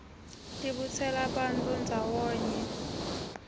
tibutsela bantfu ndzawonye